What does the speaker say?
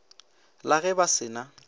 la ge ba se na